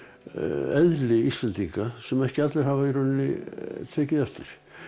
eðli Íslendinga sem ekki allir hafa í rauninni tekið eftir